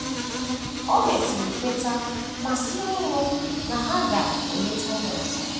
O mesịrị kweta ma sie ọnwụ na ha ga - eleta ya ọzọ.